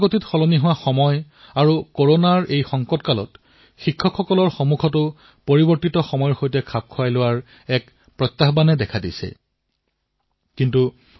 দ্ৰুত গতিত পৰিৱৰ্তিত হোৱা সময় আৰু কৰোনাৰ সংকটৰ সময়ছোৱাত আমাৰ শিক্ষকসকলৰ সন্মুখতো সময়ৰ সৈতে পৰিৱৰ্তনৰ প্ৰত্যাহ্বান প্ৰস্তুত হৈছে